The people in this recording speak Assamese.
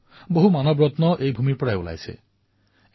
আৰু এওঁলোকে নিজৰ বাবে নহয় আনৰ কল্যাণৰ বাবে নিজৰ জীৱন সমৰ্পিত কৰিছে